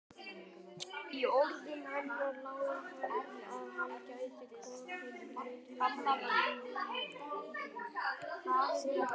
Í orðunum hennar lá að hann gæti hvorki teiknað né predikað.